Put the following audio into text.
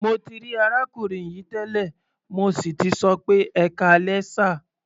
Mo ti rí arákùnrin yìí tẹ́lẹ̀, mo sì tì sọ pé "ẹkáalẹ́ sà".